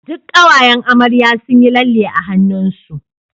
duk kawayan amarya sunyi lalle a hannun su